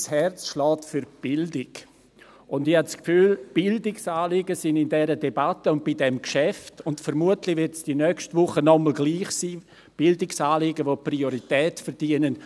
Mein Herz schlägt für die Bildung, und ich habe das Gefühl, Bildungsanliegen seien in dieser Debatte und in diesem Geschäft zu kurz gekommen, obwohl sie Priorität verdienen.